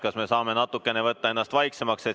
Kas me saame natukene vaiksemaks võtta?